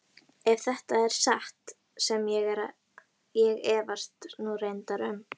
Ef þetta er satt sem ég efast nú reyndar um.